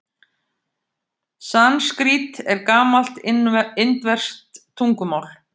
Sanskrít er gamalt indverskt tungumál.